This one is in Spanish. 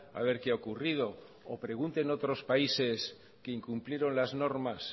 a ver qué ha ocurrido o pregunte en otros países queincumplieron las normas